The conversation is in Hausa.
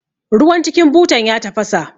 Ruwan cikin butan ya tafasa